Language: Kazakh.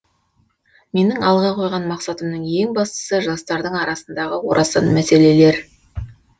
менің алға қойған мақсатымның ең бастасы жастардың арасындағы орасан мәселелер